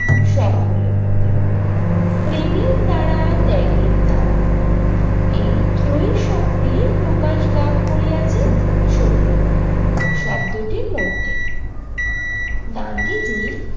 সক্রিয় প্রতিরোধ, প্রেমের দ্বারা, ত্যাগের দ্বারা। এই ত্রয়ী শক্তি প্রকাশ লাভ করিয়াছে সত্যগ্র শব্দটির মধ্যে। গান্ধীজি